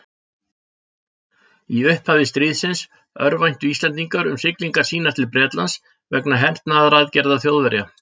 Í upphafi stríðsins örvæntu Íslendingar um siglingar sínar til Bretlands vegna hernaðaraðgerða Þjóðverja.